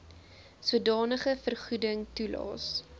sodanige vergoeding toelaes